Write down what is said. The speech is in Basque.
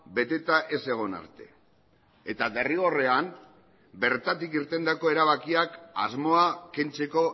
beteta ez egon arte eta derrigorrean bertatik irtendako erabakiak asmoa kentzeko